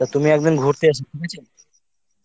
তা তুমি একদিন ঘুরতে এসো বুঝেছ